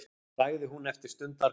sagði hún eftir stundarkorn.